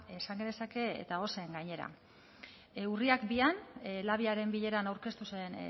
esan genezake eta ozen gainera urriak bian labiaren bileran aurkeztu zen